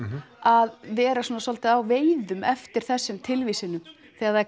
að vera svolítið á veiðum eftir þessum tilvísunum þegar